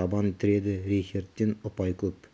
табан тіреді рейхердтен ұпай көп